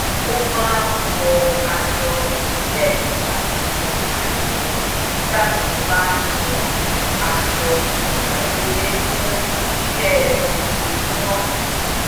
wọ́n máa ń dìgbà bójú tó ilé kí wọ́n lè pọkànpọ̀ lórí ìdàgbàsókè ara wọn